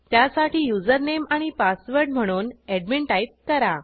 त्यासाठी युजरनेम आणि पासवर्ड म्हणून एडमिन टाईप करा